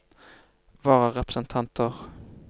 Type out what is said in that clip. vararepresentanter